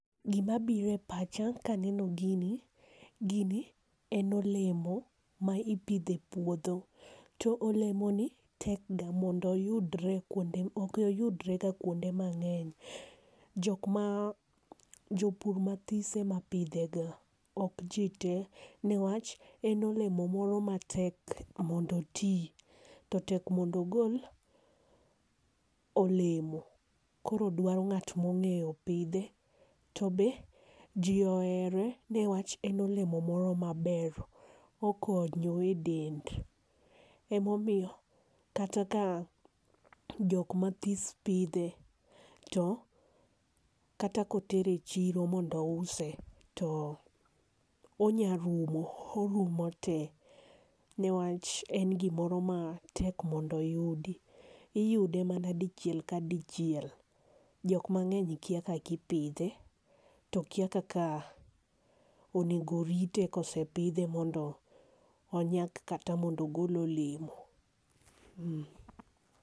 Gi ma biro e pacha ka neno gini, gini en olemo ma ipidho e puodho .To olemo ni tek mondo oyudre ok oyudre ga kuonde mangeny jopur ma tis ema pidhe ga nikech en olemo moro ma tek mondo oti to otek omondo ogol olemo koro dwaro ng'at ma ong'eyo pidhe. To be ji ohere e wach en olemo moro ma ber okonyo e dend ema omiyo kata ka jok ma tin pidhe to kata ka oter e chiro mondo ouse to onya rumo orumo te ne wach en gi moro ma tek mondo oyudi. Iyude mana dichiel ka dichiel, jok mangeny to kia kaka ipidhe to kia kaka onego orite ka osepidhe mondo onyak kata mondo ogol olemo.